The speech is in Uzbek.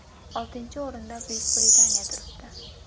Oltinchi o‘rinda Buyuk Britaniya turibdi.